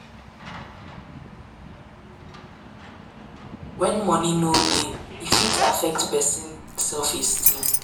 When money no dey e fit affect person self esteem